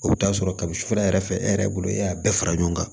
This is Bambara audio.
O bɛ t'a sɔrɔ kabi sufɛ yɛrɛ fɛ e yɛrɛ bolo e y'a bɛɛ fara ɲɔgɔn kan